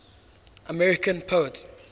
american poets